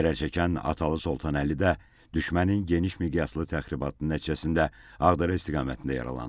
Zərərçəkən Atalı Soltanəli də düşmənin geniş miqyaslı təxribatı nəticəsində Ağdərə istiqamətində yaralanıb.